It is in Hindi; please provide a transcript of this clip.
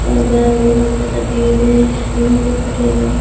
और बाहर बहुत ज्यादा भीड़ है लोग खड़े हैं।